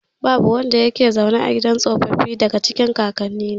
Babu wanda yake zaune a gidan tsofaffi, daga cikin kakannina.